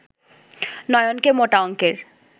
নয়নকে মোটা অঙ্কের